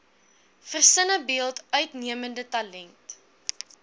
versinnebeeld uitnemende talent